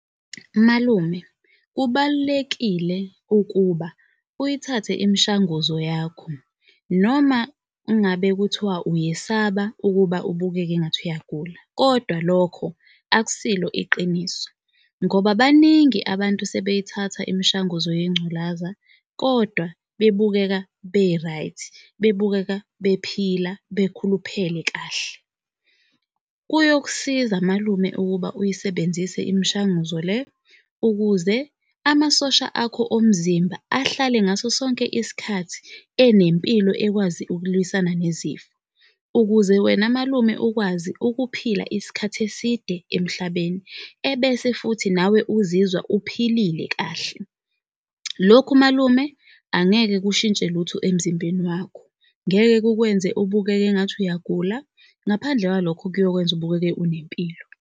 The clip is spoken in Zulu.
Malume, kubalulekile ukuba uyithathe imishanguzo yakho, noma ngabe kuthiwa uyesaba ukuba ubukeke engathi uyagula, kodwa lokho akusilo iqiniso. Ngoba baningi abantu sebeyithatha imishanguzo yengculaza, kodwa bebukeka be-right, bebukeka bephila, bakhuluphele kahle. Kuyokusiza malume ukuba uyisebenzise imishanguzo le ukuze amasosha akho omzimba ahlale ngaso sonke isikhathi enempilo ekwazi ukulwisana nezifo. Ukuze wena malume ukwazi ukuphila isikhathi eside emhlabeni ebese futhi nawe uzizwa uphilile kahle. Lokhu malume angeke kushintshe lutho emzimbeni wakho, ngeke kukwenze ubukeke engathi uyagula. Ngaphandle kwalokho kuyokwenza ubukeke unempilo.